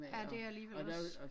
Ja det alligevel også